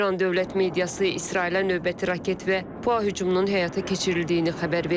İran dövlət mediası İsrailə növbəti raket və PUA hücumunun həyata keçirildiyini xəbər verir.